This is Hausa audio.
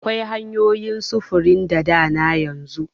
Akwai hanyoyin sufurin da dana yanzu.